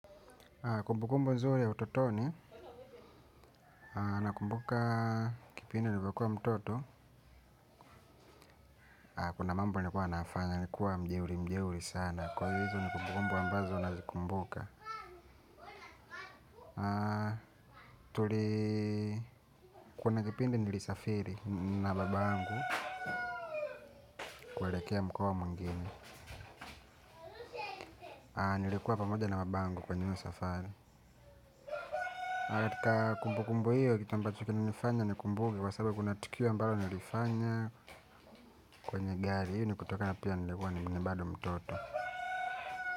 Kumbukumbu nzuri ya utotoni nakumbuka kipindi nilikuwa mtoto. Kuna mambo nilikuwa nayafanya nilikuwa mjeuri mjeuri sana kwa hivo ni kumbukumbu ambazo nazikumbuka. Tulii. Kuna kipindi nilisafiri na babangu. Kuelekea mkoa mwingine nilikuwa pamoja na babangu kwenye hiyo safari. Kumbukumbu hiyo kitu ambacho kinanifanya nikumbuke kwa sababu kuna tukio ambalo nilifanya kwenye gari hiyo nikutoka na pia nilikuwa ni bado mtoto.